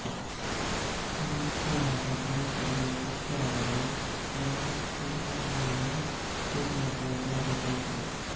Quincy ಆದ ತರುಣದಲ್ಲೆ ಪತ್ತೆ ಆದರೆ ಪೆನಿಸಿಲ್ಲಿನ್ನನ್ನು ಸೂಜಿಮದ್ದಾಗಿ ಕೊಡಬೇಕಾಗುತ್ತದೆ